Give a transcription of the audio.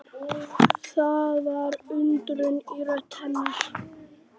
Það var undrun í rödd hennar.